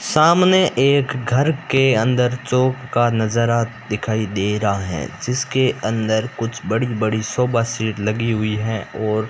सामने एक घर के अंदर चौक का नजारा दिखाई दे रहा है जिसके अंदर कुछ बड़ी बड़ी सोफा सेट लगी हुई है और --